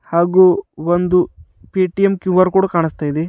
ಹಾಗು ಒಂದು Paytm Q R code ಕಾಣಿಸ್ತಾ ಇದೆ.